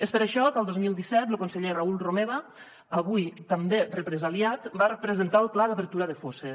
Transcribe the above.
és per això que el dos mil disset lo conseller raül romeva avui també represaliat va presentar el pla d’obertura de fosses